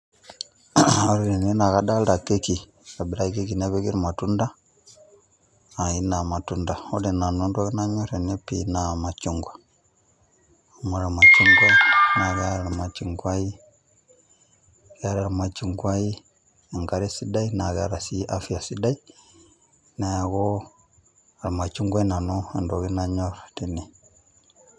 Ore tene na kadalta keki, itobiraki keki nepiki irmatunda, aina ya matunda. Ore nanu entoki nanyor tene pii, naa machungwa. Amu ore ormachungwa, na keeta ormachungwai, keeta ormachungwai enkare sidai, na keeta si afya sidai, neeku ormachungwai nanu entoki nanyor tene.